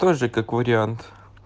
тоже как вариант